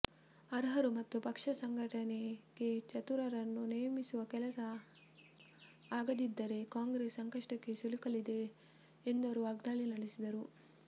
ಅರ್ಹರು ಮತ್ತು ಪಕ್ಷ ಸಂಘಟನೆಗೆ ಚತುರರನ್ನು ನೇಮಿಸುವ ಕೆಲಸ ಆಗದಿದ್ದರೆ ಕಾಂಗ್ರೆಸ್ ಸಂಕಷ್ಟಕ್ಕೆ ಸಿಲುಕಲಿದೆ ಎಂದು ಅವರು ವಾಗ್ದಾಳಿ ನಡೆಸಿದರು